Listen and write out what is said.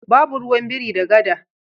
Babu ruwan biri da gada.